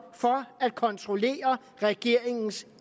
for at kontrollere regeringens